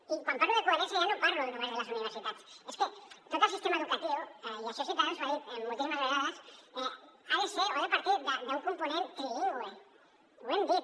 i quan parlo de coherència ja no parlo només de les universitats és que tot el sistema educatiu i això ciutadans ho ha dit moltíssimes vegades ha de ser o ha de partir d’un component trilingüe ho hem dit